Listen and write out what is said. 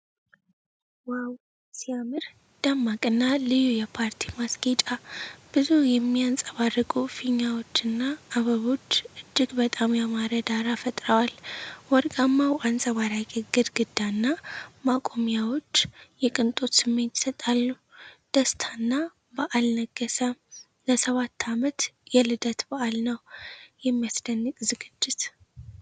ዋው ሲያምር! ደማቅና ልዩ የፓርቲ ማስጌጫ!። ብዙ የሚያንፀባርቁ ፊኛዎች እና አበቦች እጅግ በጣም ያማረ ዳራ ፈጥረዋል። ወርቃማው አንጸባራቂ ግድግዳ እና ማቆሚያዎች የቅንጦት ስሜት ይሰጣሉ። ደስታና በዓል ነገሠ! ለሰባት አመት የልደት በዓል ነው። የሚያስደንቅ ዝግጅት!